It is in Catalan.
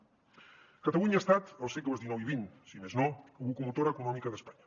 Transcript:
catalunya ha estat els segles xix i xx si més no locomotora econòmica d’espanya